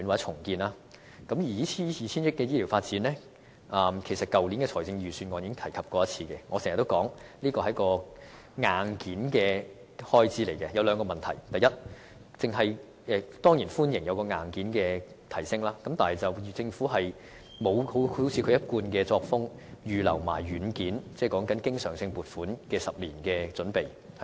這個 2,000 億元的發展計劃，其實在去年預算案中已有提出，我經常指出這便是一個硬件開支，當中涉及兩個問題：第一，我當然歡迎硬件上的提升，但政府卻沒有維持其一貫作風，預留一些軟件，即經常性撥款的10年準備。